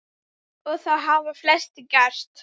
Og það hafa flestir gert.